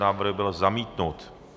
Návrh byl zamítnut.